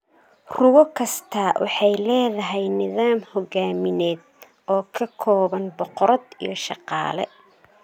Rugo kastaa waxay leedahay nidaam hogaamineed oo ka kooban boqorad iyo shaqaale.